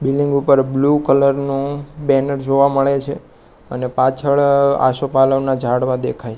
building ઉપર blue colour નુ banner જોવા મળે છે અને પાછળ આસોપાલવના ઝાડવા દેખાય--